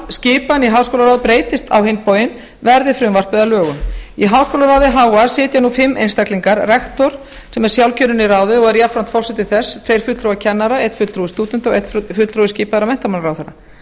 skipan í háskólaráð breytist á hinn bóginn verði frumvarpið að lögum í háskólaráði ha sitja nú fimm einstaklingar rektor sem er sjálfkjörinn í ráðið og er jafnframt forseti þess tveir fulltrúar kennara einn fulltrúi stúdenta og einn fulltrúi skipaður af menntamálaráðherra